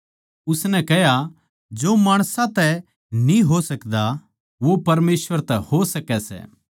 उसनै कह्या जो माणसां तै न्ही हो सकदा वो परमेसवर तै हो सकै सै